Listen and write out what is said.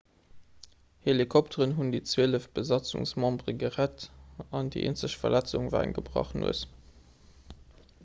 helikopteren hunn déi zwielef besatzungsmembere gerett an déi eenzeg verletzung war eng gebrach nues